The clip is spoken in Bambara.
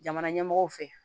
Jamana ɲɛmɔgɔw fɛ